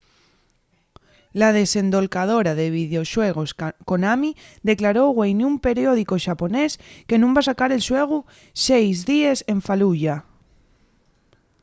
la desendolcadora de videoxuegos konami declaró güei nun periódicu xaponés que nun va sacar el xuegu seis díes en fallujah